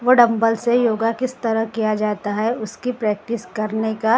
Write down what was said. वो डम्बल से योगा किस तरह किया जाता हैं उसकी प्रैक्टिस करने का तरीका बा।